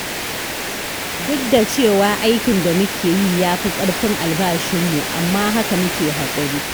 Duk da cewa aikin da muke yi ya fi ƙarfin albashinmu, amma haka muke haƙuri.